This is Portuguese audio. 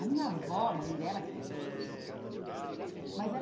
A minha avó, mãe dela, queria ser professora ah mas ela.